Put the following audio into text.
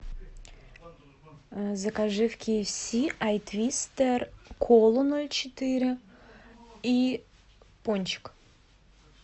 закажи в кфс ай твистер колу ноль четыре и пончик